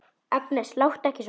Agnes, láttu ekki svona!